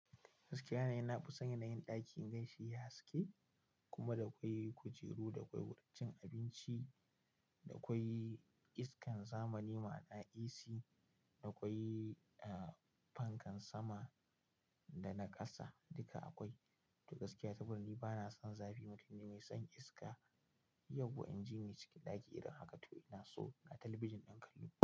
Gaskiya na fi son yin ɗakin gashi ya haske kuma da akwai kujeru, da kwai wurin cin abinci, da kwai iskan zamani ma'ana AC, da akwai fankan sama da na ƙasa duka akwai. To gaskiya sabida ni bana san zafi. Mutum ne mai son iska. Yauwa inji ni cikin ɗaki irin haka to ina so ga talabijin ɗin kallon.